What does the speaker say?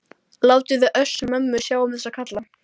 Látiði Össur-Mömmu sjá um þessa karla.